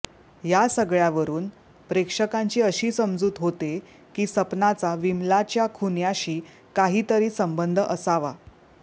ह्या सगळ्यावरून प्रेक्षकांची अशी समजूत होते की सपनाचा विमलाच्या खुन्याशी काहीतरी संबंध असावा